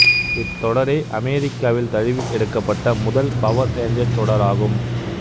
இத்தொடரே அமெரிக்காவில் தழுவி எடுக்கப்பட்ட முதல் பவர் ரேஞ்சர்ஸ் தொடர் ஆகும்